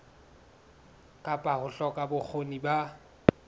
kapa ho hloka bokgoni ba